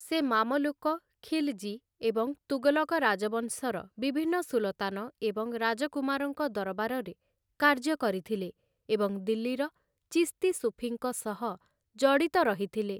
ସେ ମାମଲୁକ, ଖିଲଜୀ, ଏବଂ ତୁଗଲକ ରାଜବଂଶର ବିଭିନ୍ନ ସୁଲତାନ ଏବଂ ରାଜକୁମାରଙ୍କ ଦରବାରରେ କାର୍ଯ୍ୟ କରିଥିଲେ, ଏବଂ ଦିଲ୍ଲୀର ଚିସ୍ତି ସୁଫିଙ୍କ ସହ ଜଡ଼ିତ ରହିଥିଲେ ।